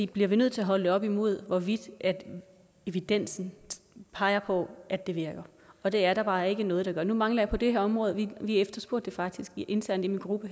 bliver vi nødt til at holde det op imod hvorvidt evidensen peger på at det virker og det er der bare ikke noget der gør nu mangler jeg på det her område og vi efterspurgte det faktisk internt i min gruppe